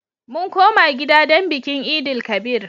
Mun koma gida don bikin Eid-el-kabir.